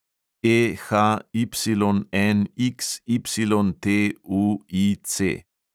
EHYNXYTUIC